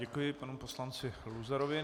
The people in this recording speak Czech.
Děkuji panu poslanci Luzarovi.